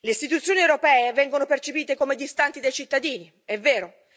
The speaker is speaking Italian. Le istituzioni europee vengono percepite come distanti dai cittadini, è vero.